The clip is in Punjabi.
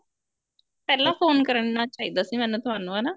ਪਹਿਲਾਂ phone ਕਰਨਾ ਚਾਹੀਦਾ ਸੀ ਮੈਨੇ ਤੁਹਾਨੂੰ ਹਨਾ